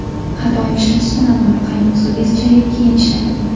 Har doim ishlatishdan avval qaynoq suvga chayib keyin ishlating.